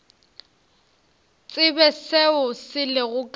tsebe seo se lego ka